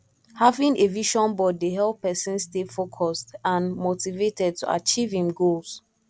having a vision board dey help pesin stay focused and motivated to achieve im goals